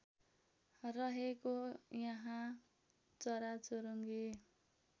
रहेको यहाँ चराचुरुङ्गी